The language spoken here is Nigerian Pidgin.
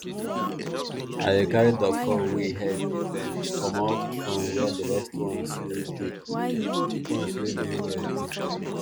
i dey carry duckfowl wey e head dey bend comot from where the rest ones wey dey ones wey dey well dey